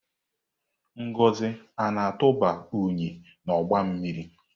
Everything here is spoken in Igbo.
Ngozi na-atụba unyi n'ọgba mmiri?